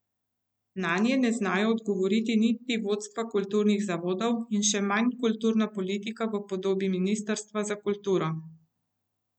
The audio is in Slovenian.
Nanje ne znajo odgovoriti niti vodstva kulturnih zavodov in še manj kulturna politika v podobi ministrstva za kulturo.